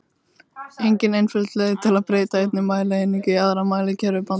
Engin einföld leið er að breyta einni mælieiningu í aðra í mælikerfi Bandaríkjamanna.